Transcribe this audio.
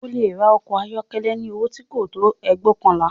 O lè ra ọkọ̀ ayọ́kọ́lẹ́ ní owó tí kò tó ẹgbóokànlá